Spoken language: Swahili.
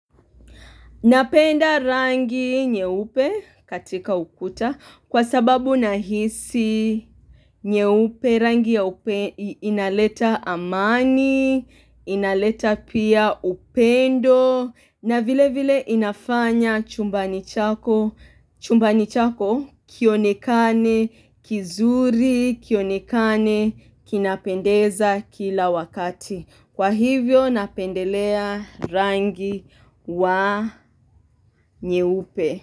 Napenda rangi nyeupe katika ukuta kwa sababu nahisi nyeupe rangi nyeupe inaleta amani, inaleta pia upendo na vile vile inafanya chumbani chako, chumbani chako kionekane, kizuri, kionekane, kinapendeza kila wakati. Kwa hivyo napendelea rangi wa nyeupe.